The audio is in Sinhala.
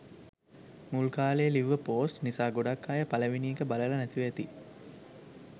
මුල් කාලෙ ලිව්ව පෝස්ට් නිසා ගොඩාක් අය පළවෙනි එක බලල නැතිව ඇති.